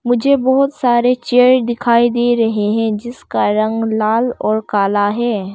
मुझे बहुत सारे चेयर दिखाई दे रहे हैं जिसका रंग लाल और काला है।